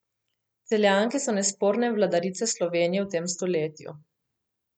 Celjanke so nesporne vladarice Slovenije v tem stoletju.